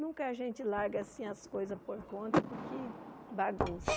Nunca a gente larga assim as coisas por conta, porque bagunça.